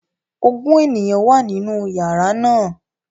Ogun eniyan wa ninu yara naa